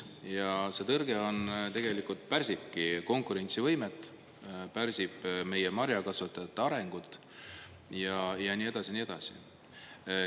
Ja see tõrge on tegelikult pärsibki konkurentsivõimet, pärsib meie marjakasvatajate arengut ja nii edasi ja nii edasi.